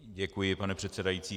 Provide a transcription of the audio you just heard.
Děkuji, pane předsedající.